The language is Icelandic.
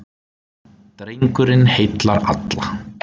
Drengurinn heillar alla.